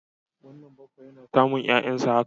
Wannan baffa yana samun 'ya'yansa haka.